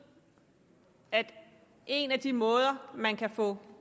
at en af de måder man kan få